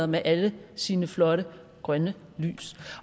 med alle sine flotte grønne lys